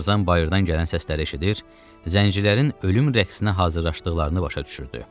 Tarzan bayırdan gələn səsləri eşidir, zəncirlərin ölüm rəqsinə hazırlaşdıqlarını başa düşürdü.